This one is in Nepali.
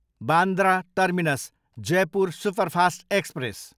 Bandra terminus, Jaipur superfast express